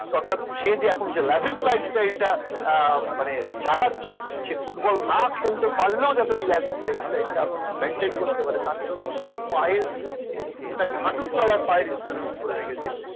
সে যে এখন loves life style টা মানে চালাচ্ছে সে ফুটবল না খেলতে পারল loves life style টা maintain করতে পারে তার জন্য সে পায়ের হাঁটু তলার পায়ের insurance করে রেখেছে